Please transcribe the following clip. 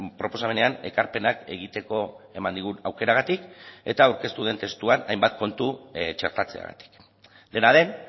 proposamenean ekarpenak egiteko eman digun aukeragatik eta aurkeztu den testuan hainbat kontu txertatzeagatik dena den